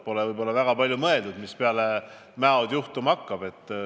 Pole võib-olla väga palju mõeldud, mis peale Mäod juhtuma hakkab.